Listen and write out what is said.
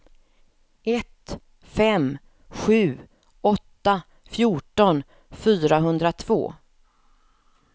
ett fem sju åtta fjorton fyrahundratvå